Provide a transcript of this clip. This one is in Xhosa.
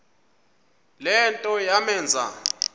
le nto yamenza